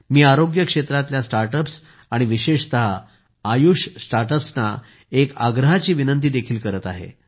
मी आरोग्य क्षेत्रातल्या स्टार्टअप्स आणि विशेषतः आयुष स्टार्टअप्सना एक आग्रहाची विनंती देखील केली आहे